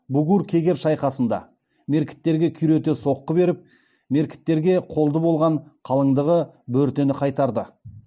бугур кегер шайқасында меркіттерге күйрете соққы беріп меркіттерге қолды болған қалыңдығы бөртені қайтарды